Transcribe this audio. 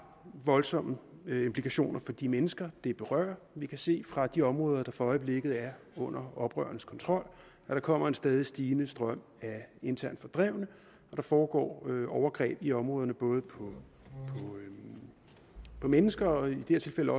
voldsomme implikationer for de mennesker det berører vi kan se fra de områder der for øjeblikket er under oprørernes kontrol at der kommer en stadig stigende strøm af internt fordrevne og der foregår overgreb i områderne både på mennesker og i det her tilfælde